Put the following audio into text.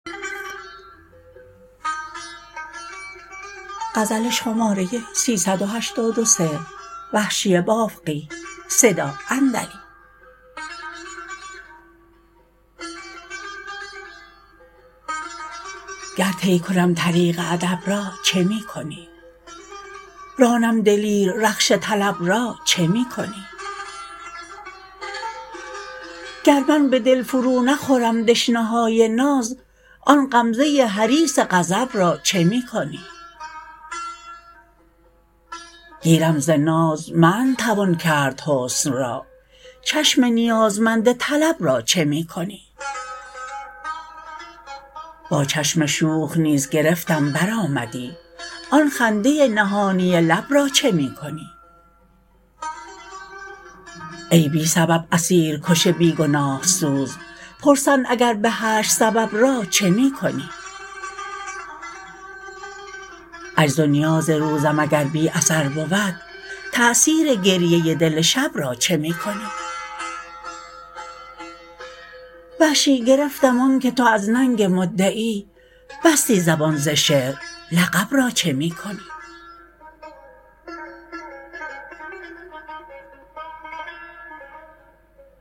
گر طی کنم طریق ادب را چه می کنی رانم دلیر رخش طلب را چه می کنی گر من به دل فرو نخورم دشنه های ناز آن غمزه حریص غضب را چه می کنی گیرم ز ناز منع توان کرد حسن را چشم نیازمند طلب را چه می کنی با چشم شوخ نیز گرفتم بر آمدی آن خنده نهانی لب را چه می کنی ای بی سبب اسیر کش بیگناه سوز پرسند اگر به حشر سبب را چه می کنی عجز و نیاز روزم اگر بی اثر بود تأثیر گریه دل شب را چه می کنی وحشی گرفتم آنکه تو از ننگ مدعی بستی زبان ز شعر لقب را چه می کنی